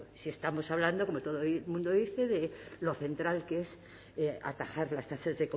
si estamos hablando como todo el mundo dice de lo central que es atajar las tasas